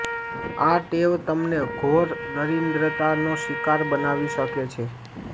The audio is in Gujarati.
આ ટેવ તમને ઘોર દરિદ્રતાનો શિકાર બનાવી શકે છે